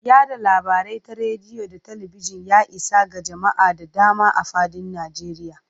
Yada labarai ta rediyo da talabijin, ya isa ga jama'a da dama a fadin Najeriya.